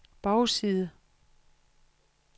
bagside